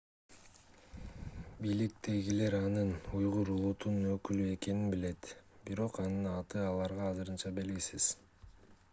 бийликтегилер анын уйгур улутунун өкүлү экенин билет бирок анын аты аларга азырынча белгисиз